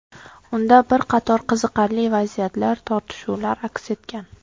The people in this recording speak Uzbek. Unda bir qator qiziqarli vaziyatlar, tortishuvlar aks etgan.